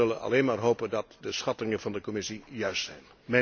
We zullen alleen maar hopen dat de schattingen van de Commissie juist zijn.